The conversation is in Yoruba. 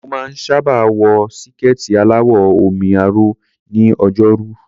Mo máa ń sábà wọ síkẹ̀ẹ̀tì aláwọ̀ omi-aró ní Ọjọ́rú.